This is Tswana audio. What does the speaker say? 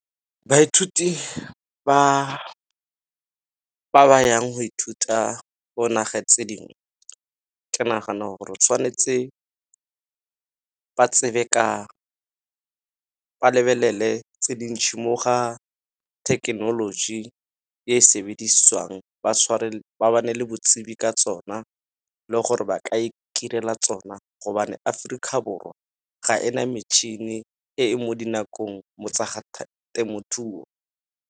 Baithuti ba ba yang go ithuta go nageng tse dingwe, ke nagana gore tshwanetse ba tsebe ka ba lebelele tse di ntšhi mo ga thekenoloji e sebediswang ba ba ne le botsibi ka tsona, le gore ba ka itirela tsona gobane Aforika Borwa ga ena metšhini e e mo dinakong mo tsa temothuo.